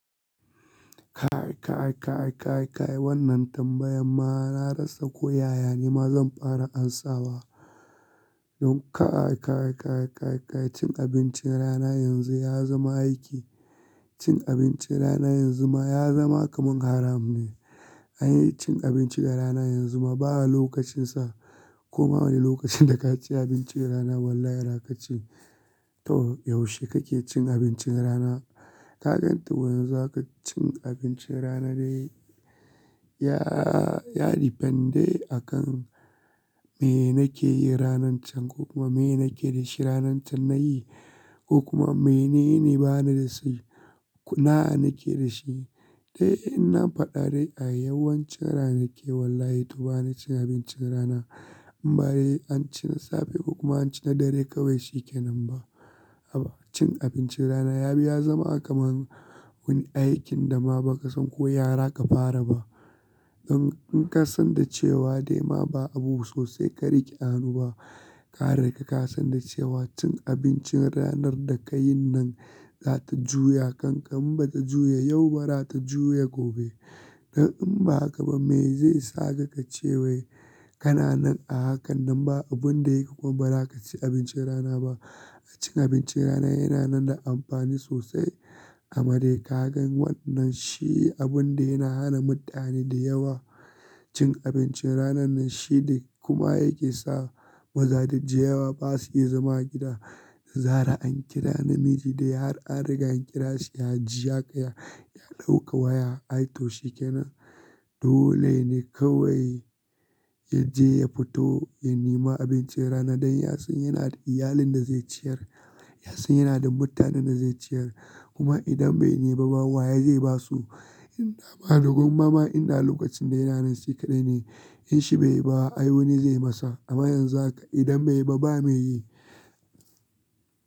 Kai, kai, kai, kai, kai wannan tambayan ma na rasa ko yaya nima zan fara amsawa. Don ka kai, kai, kai, kai cin abincin rana yanzu ya zama aiki. Cin abincin rana yanzu ma ya zama kaman haram ne. Anyi cin abinci ba rana yanzu ma ba lokacin sa. Koma wane lokacin da ka ci abincin rana wallahi ba za ka ci. To yaushe kake cin abincin rana? Ka gan yanzu haka cin abincin rana dai ya, ya depend ayi akan me nake yi ranan can ko kuma me nake da shi ranan can nayi ko kuma mene ne bani da su na nake da shi. Dai in na faɗa dai a yawancin rana nake wallahi to ba na cin abincin rana. Bade an ci na safe ko kuma an ci na dare kawai shi ke nan ba. Haba cin abincin rana ya bi ya zama kaman wani aikin da ma baka san ko ya za ka fara ba. Don in ka san da cewa ba abu sosai ka rike a hannu ba ka riga ka san da cewa cin abincin ranar da ka yin nan za ta juya. Kan ka in bata juya yau ba rata juya gobe. Don in ba haka ba me zai sa ka ka cewai kana nan a hakan nan ba abun da yayi kuma ba za ka ci abincin rana ba. Cin abincin rana yana nan da amfani sosai Amade ka gan wannan shi abun da yana hana mutane da yawa cin abincin rana nan shi da kuma yake sa mazaje da yawa ba su iya zama a gida. Zarah an kira namiji da ya har an riga an kira shi ya jiya kaya ya ɗauka waya ai to shi kenan. Dole ne kawai ya je ya fito ya nema abincin rana don ya san yana da iyalin da zai ciyar. Ya san yana da mutanen da zai ciyar. Kuma idan bai nema ba waye zai ba su? In da ma gwan ma ma in da lokacin da yana nan shi kaɗai ne. In shi bai ba ai wani zai masa. Amma yanzu haka idan bai ba ba me yi.